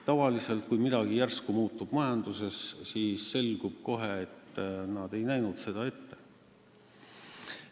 Tavaliselt, kui majanduses midagi järsku muutub, siis selgub, et prognoosid ei näinud seda ette.